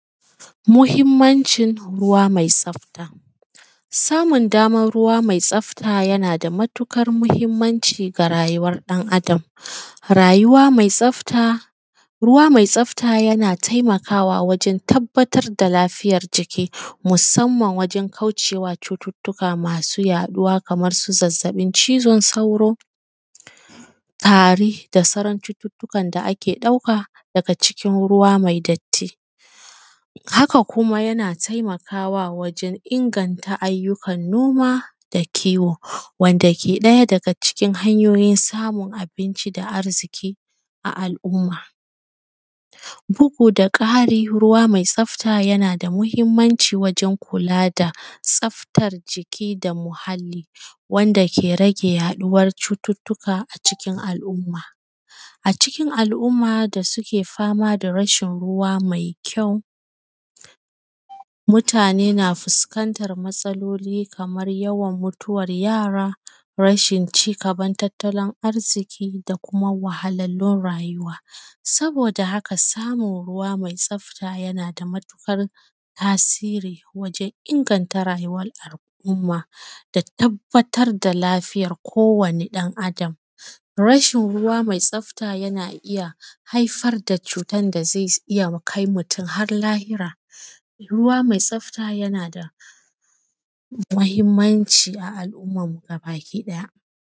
Muhimmanci ruwa mai tsafta. Samun daman ruwa mai tsafta yana da maƙukar muhimmanci ga rayuwar dan Adam, rayuwa mai tsafta, ruwa mai tsafta yana taimakawa wajen tabbatar da lafiyan jiki musamman wajen kaucewa cututuka masu yaɗuwa, kamar su zazzaɓin cizon sauro, tari, da sauran cututukan da ake dauka daga cikin ruwa mai datti. Haka kuma yana taimakawa wajen inganta ayyukan noma da kiwo, wanda ke ɗaya daga cikin samun abinci da arziki a al’umma. Bugu da ƙari ruwa mai tsafta yana da muhimmanci wajen kula da tsaftan jiki da muhali, wanda ke rage yaɗuwan cututuka a cikin al’umma, a cikin al’umma da suke fama da rashin ruwa mai kyau mutane na fuskantan matsaloli kamar yawan mutuwar yara, rashin ci gaban tattalin arziki, da kuma wahalalun rayuwa. Saboda haka samun ruwa mai tsafta yana da matuƙar tasiri wajen inganta rayuwar al’umma da tabbatar da lafiyar kowane dan Adam, rashin ruwa mai tsafta yana iya haifar da cutan da zai iya kai mutum har lahira. Ruwa mai tsafta yana da muhimmanci a al’ummanmu gaba daya.